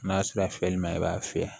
N'a sera fiyɛli ma i b'a fiyɛ